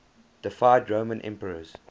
deified roman emperors